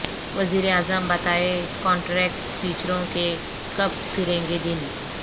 وزیر اعظم بتائیں کانٹریکٹ ٹیچروں کے کب پھریں گے دن